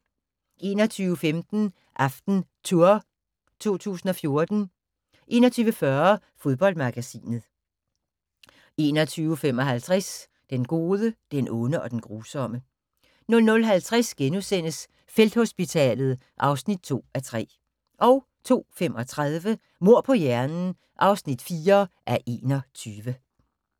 21:15: AftenTour 2014 21:40: Fodboldmagasinet 21:55: Den gode, den onde og den grusomme 00:50: Felthospitalet (2:3)* 02:35: Mord på hjernen (4:21)